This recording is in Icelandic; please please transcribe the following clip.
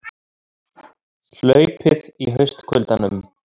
Hlaupið í haustkuldanum